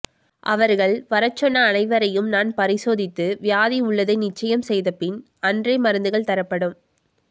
அவர்கள் வரச் சொன்ன அனைவரையும் நான் பரிசோதித்து வியாதி உள்ளதை நிச்சயம் செய்தபின் அன்றே மருத்துகள் தரப்படும்